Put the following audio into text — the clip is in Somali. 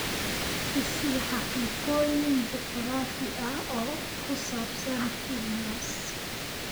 i sii xaqiiqooyin juquraafi ah oo ku saabsan vilnius